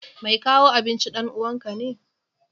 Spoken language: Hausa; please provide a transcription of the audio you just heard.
Mai kawo abincin ɗan uwanka ne?